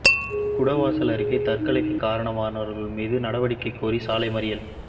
குடவாசல் அருகே தற்கொலைக்கு காரணமானவர்கள் மீது நடவடிக்கை கோரி சாலை மறியல்